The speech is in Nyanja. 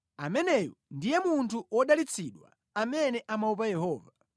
Ameneyu ndiye munthu wodalitsidwa amene amaopa Yehova.